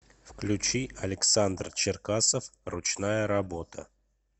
включи александр черкасов ручная работа